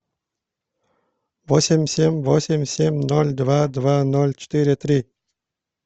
восемь семь восемь семь ноль два два ноль четыре три